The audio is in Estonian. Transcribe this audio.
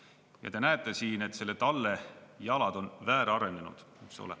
Ja te näete siin, et selle talle jalad on väärarenenud.